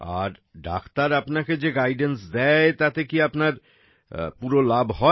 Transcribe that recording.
আর doctor আপনাকে যে guidance guidance দেয় তাতে কি আপনার সম্পূর্ণ লাভ হয়